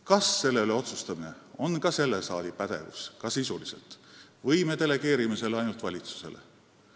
Kas selle sisu üle otsustamine on ka selle saali pädevus või me delegeerime selle ainult valitsusele?